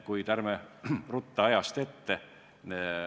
Kuid ärme ruttame ajast ette.